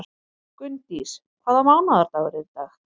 Gunndís, hvaða mánaðardagur er í dag?